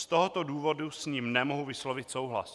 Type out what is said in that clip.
Z tohoto důvodu s ním nemohu vyslovit souhlas.